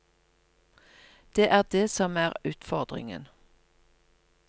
Det er det som er utfordringen.